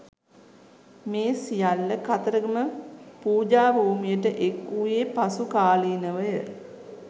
මේ සියල්ල කතරගම පූජාභූමියට එක් වූයේ පසු කාලීනව ය.